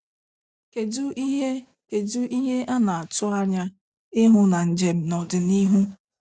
kedụ ihe kedụ ihe ana-atụanya ịhụ na njem n'ọdịnihu.